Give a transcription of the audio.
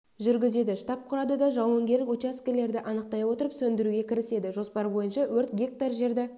жүргізеді штаб құрады да жауынгерлік учаскелерді анықтай отырып сөндіруге кіріседі жоспар бойынша өрт гектар жерді